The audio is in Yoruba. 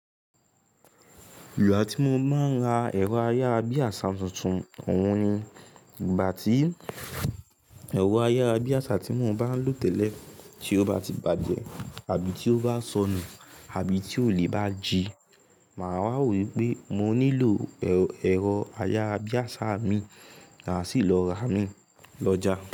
Ìgbà tí mo máa ń ra ẹ̀rọ ayára bí àṣá tuntun, ọ̀hun ni ìgbà tí ẹ̀rọ ayára bí àṣá tí mo bá ń lò tẹ́lẹ̀ tí ó bá ti bàjẹ́, àbí tí ó bá sọnù àbí tí ólè bá ji. Màá wá wo wípé mo nílò ẹ̀rọ ayára bí àṣá imi. Máa sì lọ ra imí lọ́jà.